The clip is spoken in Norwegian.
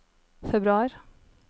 februar